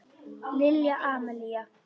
Lilja Amalía.